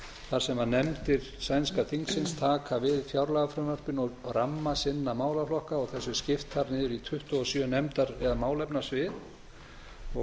þar sem nefndir sænska þingsins taka við fjárlagafrumvarpinu og ramma sinna málaflokka og þessu er skipt þar niður í tuttugu og sjö nefndar eða málefnasvið og